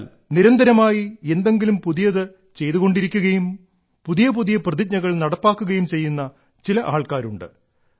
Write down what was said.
എന്നാൽ നിരന്തരമായി എന്തെങ്കിലും പുതിയത് ചെയ്തു കൊണ്ടിരിക്കുകയും പുതിയ പുതിയ പ്രതിജ്ഞകൾ നടപ്പാക്കുകയും ചെയ്യുന്ന ചില ആൾക്കാരുണ്ട്